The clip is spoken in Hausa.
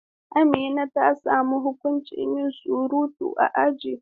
Amina ta samu huƙuncin yin surutu a aji.